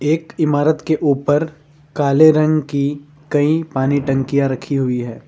एक इमारत के ऊपर काले रंग की कई पानी टंकियां रखी हुई है।